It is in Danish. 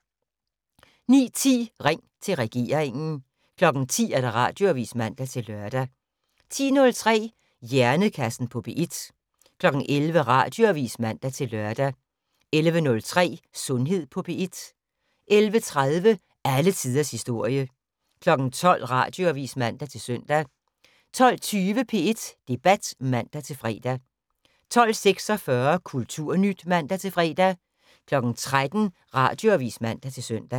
09:10: Ring til regeringen 10:00: Radioavis (man-lør) 10:03: Hjernekassen på P1 11:00: Radioavis (man-lør) 11:03: Sundhed på P1 11:30: Alle tiders historie 12:00: Radioavis (man-søn) 12:20: P1 Debat (man-fre) 12:46: Kulturnyt (man-fre) 13:00: Radioavis (man-søn)